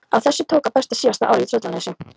Á þessu tók að bera síðasta árið í Tröllanesi.